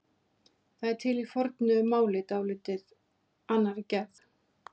Það er til í fornu máli í dálítið annarri gerð.